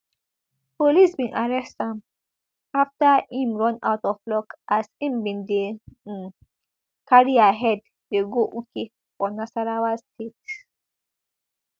police bin arrest am afta im run out of luck as im bin dey um carry her head dey go uke for nasarawa state